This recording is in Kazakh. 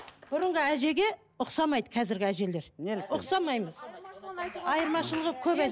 бұрынғы әжеге ұқсамайды қазіргі әжелер ұқсамаймыз айырмашылығы көп